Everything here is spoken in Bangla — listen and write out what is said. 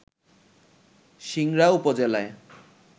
সিংড়া উপজেলায়